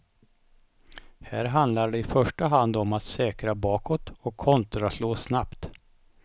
Här handlar det i första hand om att säkra bakåt och kontraslå snabbt.